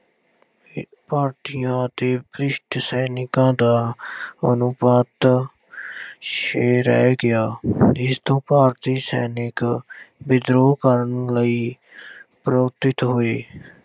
ਭਾਰਤੀਆਂ ਤੇ ਸੈਨਿਕਾਂ ਦਾ ਅਨੁਪਾਤ ਛੇ ਰਹਿ ਗਿਆ ਜਿਸ ਤੋਂ ਭਾਰਤੀ ਸੈਨਿਕ ਵਿਦਰੋਹ ਕਰਨ ਲਈ ਹੋਏ।